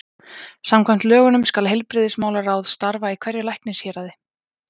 Samkvæmt lögunum skal heilbrigðismálaráð starfa í hverju læknishéraði.